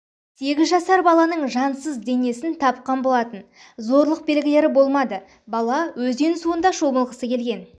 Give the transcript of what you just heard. сегіз жасар балалның жансыз денесіз тапқан болатын зорлық белгілері болмады бала өзен суында шомылғысы келген